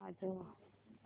वाजव